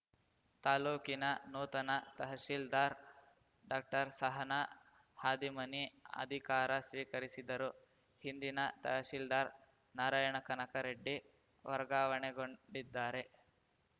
ತಾಲೂಕಿನ ನೂತನ ತಹಸೀಲ್ದಾರ್‌ ಡಾಕ್ಟರ್ಸಹನ ಹಾದಿಮನಿ ಅಧಿಕಾರ ಸ್ವೀಕರಿಸಿದರು ಹಿಂದಿನ ತಹಸೀಲ್ದಾರ್‌ ನಾರಾಯಣ ಕನಕ ರೆಡ್ಡಿ ವರ್ಗಾವಣೆಗೊಂಡಿದ್ದಾರೆ